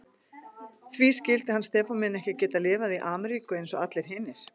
Því skyldi hann Stefán minn ekki geta lifað í Ameríku eins og allir hinir.